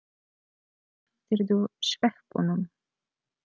Slepptirðu sveppunum?